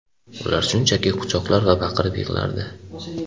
Ular shunchaki meni quchoqlar va baqirib yig‘lardi.